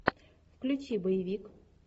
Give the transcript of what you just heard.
включи боевик